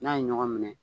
N'a ye ɲɔgɔn minɛ